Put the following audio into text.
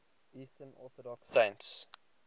eastern orthodox saints